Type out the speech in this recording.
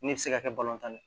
Ne bɛ se ka kɛ tan ne ye